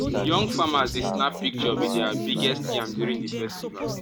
young farmers dey snap picture with their biggest yam during the festival.